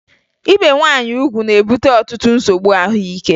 Ibe nwaanyị ugwu na-ebute ọtụtụ nsogbu ahụike